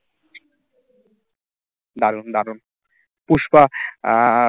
দারুন দারুন পুষ্পা আর